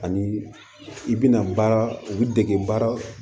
Ani i bina baara u bi dege baara